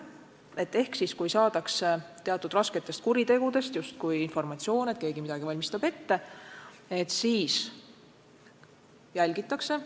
Näiteks on saadud informatsiooni, et keegi valmistab justkui rasket kuritegu ette, ja teda hakati jälgima.